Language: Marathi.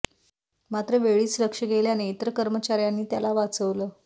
मात्र वेळीच लक्ष गेल्याने इतर कर्मचाऱ्यांनी त्याला वाचवलं